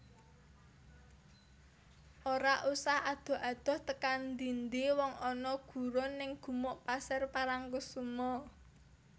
Ora usah adoh adoh tekan ndi ndi wong ana gurun ning Gumuk Pasir Parangkusumo